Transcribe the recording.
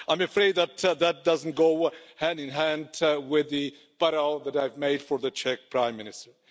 So I'm afraid that that doesn't go hand in hand with the parallel that I've made for the Czech Prime Minister.